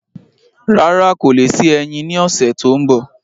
Rárá, kò le sí ẹyin ní ọsẹ tó n bọ